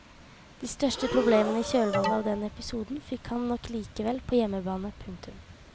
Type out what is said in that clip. De største problemene i kjølvannet av den episoden fikk han nok likevel på hjemmebane. punktum